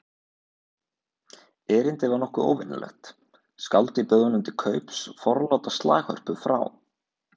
Erindið var nokkuð óvenjulegt: Skáldið bauð honum til kaups forláta slaghörpu frá